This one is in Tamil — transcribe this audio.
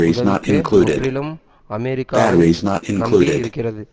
உதவிக்கு முற்றிலும் அமெரிக்காவை நம்பி இருக்கிறது